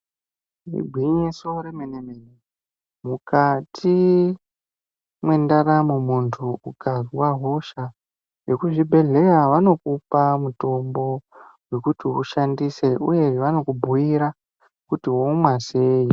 Igwinyiso remene mene mukati mwendaramo muntu ukazwa hosha vekuzvibhedhleya Vanokupa mutombo yekuti ushandise uye vanokubhuira kuti womwa sei.